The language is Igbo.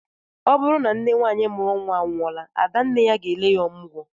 Ọ bụrụ na nne nwaanyị mụrụ nnwa anwụọla, ada nne ya na-ele ya ọmụgwọ